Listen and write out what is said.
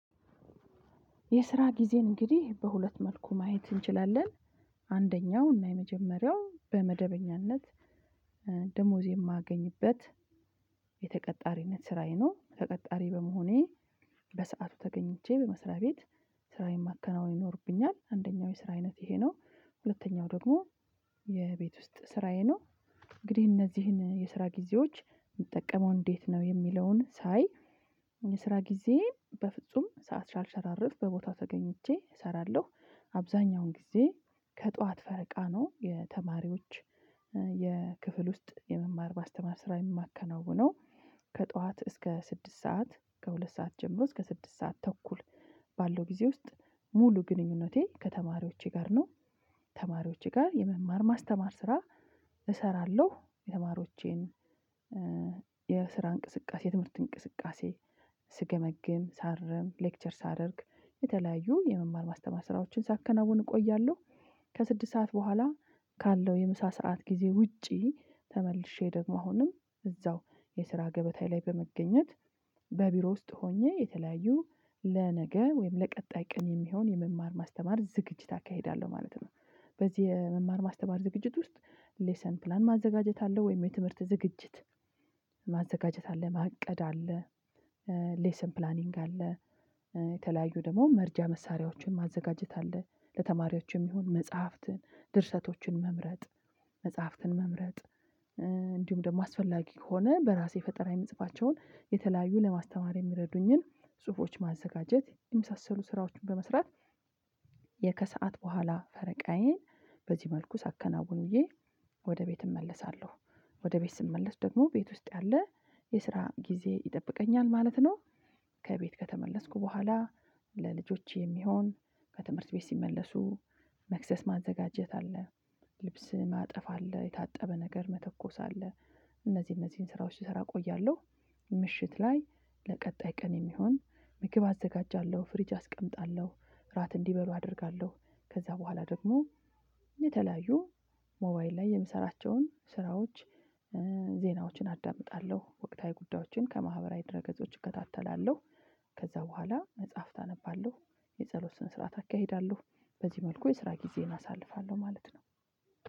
የስራ ጊዜን እንግዲህ በሁለት መልኩ ማየት እንችላለን። አንደኛው እና የመጀመሪያው በመደበኛነት ደሞዝ የማገኝበት የተቀጣሪነት ስራዬ ነው ተቀጣሪ በመሆኔ በሰአቱ ተገኝቼ በመስሪያ ቤት። ስራዬን ማከናወን ይኖርብኛል። አንደኛው የስራ አይነት ይሄ ነው ሁለተኛው ደግሞ የቤት ውስጥ ስራዬ ነው። እንግዲህ እነዚህን የስራ ጊዜዎች ምጠቀመው እንዴት ነው የሚለውን ሳይ። የስራ ጊዜ በፍጹም ሰዓት ሳልሸራርፍ በቦታው ተገኝቼ እሰራለሁ አብዛኛውን ጊዜ ከጧት ፈረቃ ነው የተማሪዎች የክፍል ውስጥ የመማር ማስተማር ስራ የማከናውነው። ከጠዋት እስከ ስድስት ሰዓት ከሁለት ሰዓት ጀምሮ እስከ ስድስት ሰዓት ተኩል ባለው ጊዜ ውስጥ ሙሉ ግንኙነቴ ከተማሪዎቼ ጋር ነው። ተማሪዎቼ ጋር የመማር ማስተማር ስራ እሰራለሁ የተማሪዎቼን የስራ እንቅስቃሴ የትምህርት እንቅስቃሴ ስገመግም ሳርም ሌክቸር ሳደርግ የተለያዩ የመማር ማስተማር ስራዎችን ሳከናውን እቆያለሁ። ከስድስት ሰዓት በኋላ ካለው የምሳ ሰዓት ጊዜ ውጪ ተመልሼ ደግሞ አሁንም እዛው የስራ ገበታዬ ላይ በመገኘት በቢሮ ውስጥ ሆኜ የተለያዩ ለነገ ወይም ለቀጣይ ቀን የሚሆን የመማር ማስተማር ዝግጅት አካሂዳለሁ ማለት ነው። በዚህ የመማር ማስተማር ዝግጅት ውስጥ ሌሰን ፕላን ማዘጋጀት አለው ወይም የትምህርት ዝግጅት ማዘጋጀት አለ ማቀድ አለ። ሌሰን ፕላኒንግ አለ። የተለያዩ ደግሞ መርጃ መሳሪያዎችን ማዘጋጀት አለ ለተማሪዎች የሚሆኑ መጽሐፍትን ድርሰቶችን መምረጥ መጽሐፍትን መምረጥ እንዲሁም ደግሞ አስፈላጊ ከሆነ በራሴ ፈጠራ የምጽፋቸውን የተለያዩ ለማስተማር የሚረዱኝን ጽሁፎች ማዘጋጀት የመሳሰሉ ስራዎችን በመስራት። ከሰአት በኋላ ፈረቃዬን በዚህ መልኩ ሳከናውን ውዬ ወደ ቤት እመለሳለሁ። ወደ ቤት ስመለስ ደግሞ ቤት ውስጥ ያለ የስራ ጊዜ ይጠብቀኛል ማለት ነው። ከቤት ከተመለስኩ በኋላ ለልጆች የሚሆን ከትምህርት ቤት ሲመለሱ መክሰስ ማዘጋጀት አለ። ልብስ ማጠፍ አለ የታጠበ ነገር መተኮስ አለ። እነዚህ እነዚህን ስራዎች ስሰራ እቆያለሁ። ምሽት ላይ ለቀጣይ ቀን የሚሆን ምግብ አዘጋጃለሁ ፍሪጅ አስቀምጣለሁ እራት እንዲበሉ አደርጋለሁ ከዛ በኋላ ደግሞ የተለያዩ ሞባይል ላይ የምሰራቸውን ስራዎች ዜናዎችን አዳምጣለሁ ወቅታዊ ጉዳዮችን ከማህበራዊ ድረ ገጾች እከታተላለሁ። ከዛ በኋላ መጽሐፍት አነባለሁ የጸሎት ስነ ስርዓት አካሂዳለሁ በዚህ መልኩ የስራ ጊዜዬን አሳልፋለሁ ማለት ነው